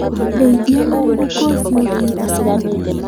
Ndethia na mũhuko ũcio thiĩ thukuru